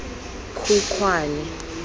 khukhwane